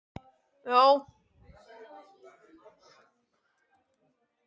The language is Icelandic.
Bæron, bókaðu hring í golf á miðvikudaginn.